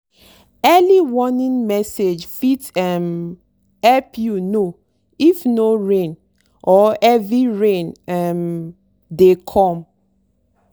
early warning message fit um help you know if no rain or heavy rain um dey come.